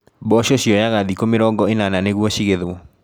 Mboco cioyaga thikũ mĩrongo inana nĩguo cigetwo.